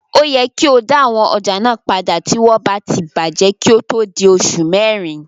O yẹ kí o dá àwọn ọjà náà padà tí wọ́n bá ti bàjẹ́ kí ó tó di oṣù mẹrin.